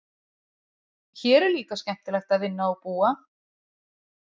Hér er líka skemmtilegt að vinna og búa.